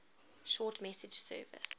short message service